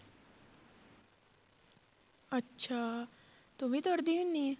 ਅੱਛਾ ਤੂੰ ਵੀ ਦੌੜਦੀ ਹੁੰਦੀ ਹੈ?